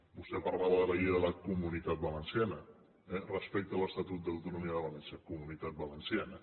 vostè parlava de la llei de la comunitat valenciana respecte a l’estatut d’autonomia de valència comunitat valenciana